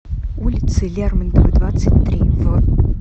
улице лермонтова двадцать три в